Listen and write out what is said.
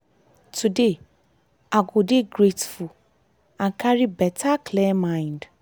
today i go dey grateful and carry better clear mind.